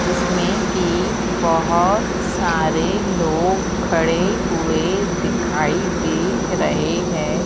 जिसमें की बहुत सारे लोग खड़े हुए दिखाई दे रहे हैं।